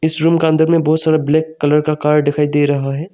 इस रूम का अंदर में बहुत सारा ब्लैक कलर का कार दिखाई दे रहा है।